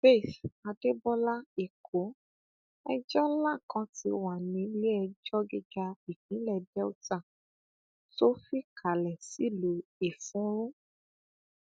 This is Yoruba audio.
faith adébọlá ẹkọ ẹjọ ńlá kan ti wà ní nílẹẹjọ gíga ìpínlẹ delta tó fikale sílùú effunrun